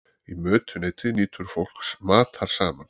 í mötuneyti nýtur fólk matar saman